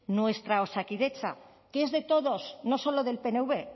nuestra osakidetza que es de todos no solo del pnv